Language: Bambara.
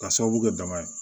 Ka sababu kɛ dama ye